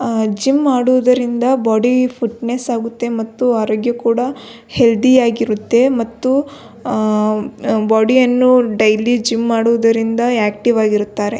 ಆ ಜಿಮ್ ಮಾಡುವುದರಿಂದ body fitness ಆಗುತ್ತೆ ಮತ್ತು ಅರೋಗ್ಯ ಕೂಡ ಹೆಲ್ತಿ ಆಗಿರುತ್ತೆ ಮತ್ತು ಆ ಬಾಡಿ ಯನ್ನು ಡೈಲಿ ಜಿಮ್ ಮಾಡುವುದರಿಂದ ಆಕ್ಟಿವ್ ಆಗಿರುತ್ತಾರೆ.